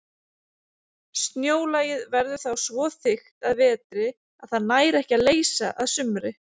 Snjólagið verður þá svo þykkt að vetri að það nær ekki að leysa að sumri.